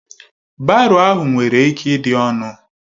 Baro ahụ nwere ike ịdị ọnụ